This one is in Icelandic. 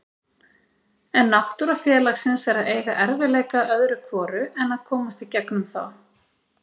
En náttúra félagsins er að eiga erfiðleika öðru hvoru en að komast í gegnum þá.